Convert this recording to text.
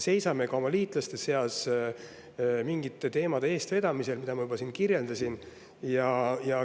Seisame ka oma liitlaste seas nende teemade eest, mida ma juba siin kirjeldasin.